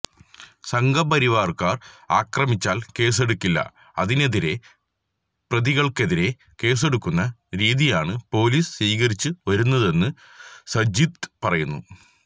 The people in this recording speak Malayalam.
സംഘപരിവാര്കാര് ആക്രമിച്ചാല് കേസെടുക്കില്ല അതിനെതിരെ പ്രതികള്ക്കെതിരെ കേസെടുക്കുന്ന രീതിയാണ് പൊലീസ് സ്വീകരിച്ചു വരുന്നതെന്ന് സജീദ് പറയുന്നു